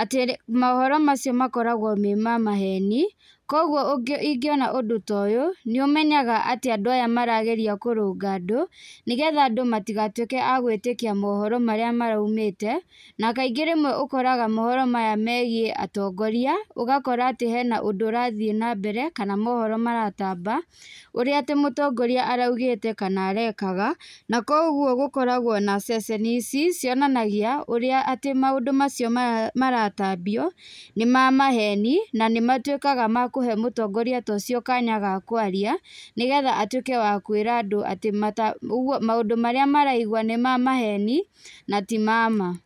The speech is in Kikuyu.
atĩ mohoro macio makoragwo me ma maheni. Koguo ingĩona ũndũ ta ũyu, nĩũmenyaga atĩ andũ aya marageria kũrũnga andũ. Nĩgetha andũ matigatuĩke a gwĩtĩkia mohoro marĩa maraumĩte. Na kaingĩ rĩmwe ũkoraga mohoro maya megiĩ atongoria, ũgakora atĩ hena ũndũ ũrathiĩ na mbere, kana mohoro maratamba ũrĩa atĩ mũtongoria araugĩte kana arekaga. Na koguo gũkoragwo na ceceni ici cionanagia, ũrĩa atĩ maũndũ macio mara maratambio nĩ mamaheni na nĩmatuĩkaga ma kũhe mũtongoria ta ũcio kanya ga kwaria, nĩgetha atuĩke wa kwĩra andũ atĩ mata, ũguo maũndũ marĩa maraigua nĩ ma maheni na ti ma ma.